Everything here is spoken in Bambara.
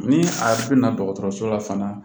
Ni a bɛna dɔgɔtɔrɔso la fana